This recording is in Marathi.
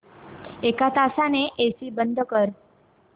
एक तासाने एसी बंद कर